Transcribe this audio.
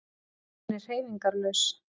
Hún er hreyfingarlaus.